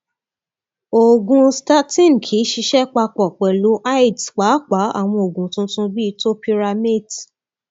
oògùn statin kì í ṣiṣẹ papọ pẹlú aeds pàápàá àwọn oògùn tuntun bíi topiramate